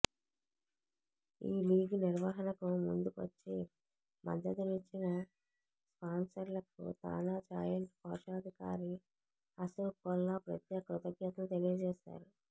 ఈ లీగ్ నిర్వహణకు ముందుకొచ్చి మద్దతునిచ్చిన స్పాన్సర్లకు తానా జాయింట్ కోశాధికారి అశోక్ కొల్లా ప్రత్యేక కృతజ్ఞతలు తెలియజేశారు